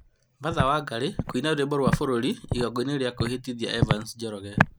Martha Wangari kũina rwĩmbo rwa bũruri igongona-ini rĩa kwĩhĩtithia Evans Wanyoike